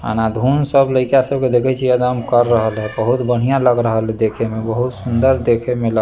आना-धून सब लयका सब के देखे छीये एकदम कर रहल ये बहुत बढ़िया लग रहल ये देखे मे बहुत सुंदर देखे मे लग --